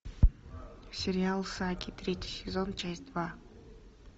сериал саги третий сезон часть два